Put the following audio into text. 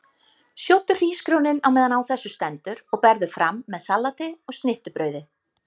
Sjóddu hrísgrjónin á meðan á þessu stendur og berðu fram með salati og snittubrauði.